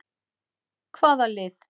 Hvaða lið?